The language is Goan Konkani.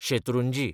शेत्रुंजी